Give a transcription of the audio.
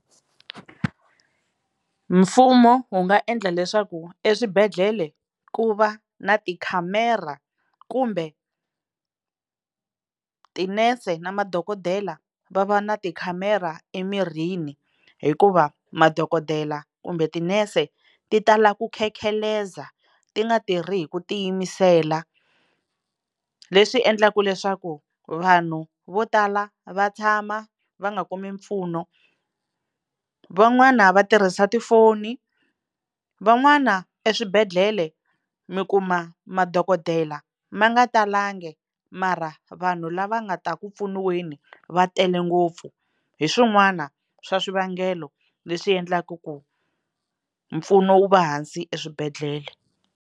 Mfumo wu nga endla leswaku eswibedhlele ku va na tikhamera kumbe tinese na madokodela va va na tikhamera emirini hikuva madokodela kumbe tinese ti tala ku khekheleza ti nga tirhi hi ku tiyimisela, leswi endlaka leswaku vanhu vo tala va tshama va nga kumi mpfuno. Van'wana va tirhisa tifoni, van'wana eswibedhlele mi kuma madokodela ma nga talangi mara vanhu lava nga ta ku pfuniweni va tele ngopfu, hi swin'wana swa swivangelo leswi endlaku ku mpfuno wu va hansi eswibedhlele.